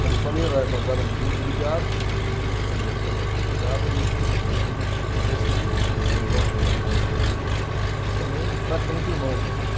Como falei, era nós éramos muito ligados, a família toda era muito ligada, e ele meu tio tinha três filhos, dois homens e uma uma menina, também praticamente irmãos nossos.